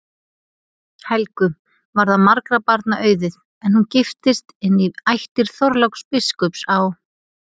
Helgu varð margra barna auðið, en hún giftist inn í ættir Þorláks biskups á